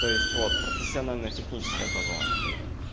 то есть вот профессионально техническое образование то